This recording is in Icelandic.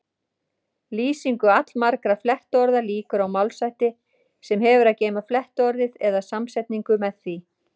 Lýsingu allmargra flettiorða lýkur á málshætti sem hefur að geyma flettiorðið eða samsetningu með því.